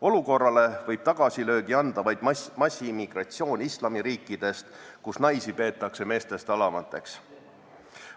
Olukorrale võib tagasilöögi anda vaid massiimmigratsioon islamiriikidest, kus naisi peetakse meestest alamateks.